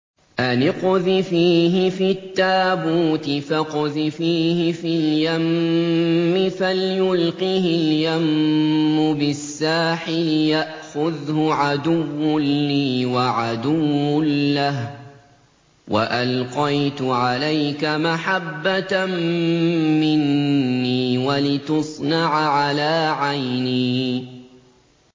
أَنِ اقْذِفِيهِ فِي التَّابُوتِ فَاقْذِفِيهِ فِي الْيَمِّ فَلْيُلْقِهِ الْيَمُّ بِالسَّاحِلِ يَأْخُذْهُ عَدُوٌّ لِّي وَعَدُوٌّ لَّهُ ۚ وَأَلْقَيْتُ عَلَيْكَ مَحَبَّةً مِّنِّي وَلِتُصْنَعَ عَلَىٰ عَيْنِي